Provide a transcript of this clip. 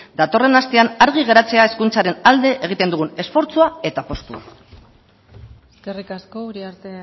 datorren astean argi geratzea hezkuntzaren alde egiten dugun esfortzua eta apustua eskerrik asko uriarte